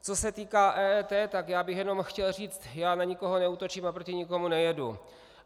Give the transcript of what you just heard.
Co se týká EET, tak já bych jenom chtěl říct, já na nikoho neútočím a proti nikomu nejedu.